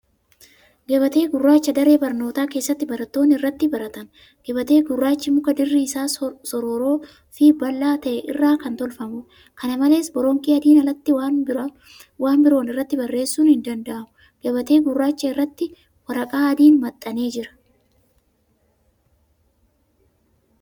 Gabatee gurraacha daree barnootaa keessatti barattoonni irratti baratan. Gabatee gurraachi muka dirri isaa sororoofi bal'aa ta'e irraa kan tolfamuudha. Kana malees, boronqii adiin alatti waan biroon irratti barreessuun hin danda'amu. Gabatee gurraacha irratti waraqaa adiin maxxanee jira.